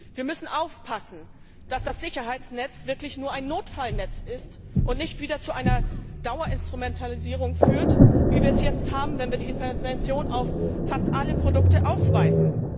Wir müssen aufpassen, dass das Sicherheitsnetz wirklich nur ein Notfallnetz ist und nicht wieder zu einer Dauerinstrumentalisierung führt, wie wir es jetzt haben, wenn wir die Intervention auf fast alle Produkte ausweiten.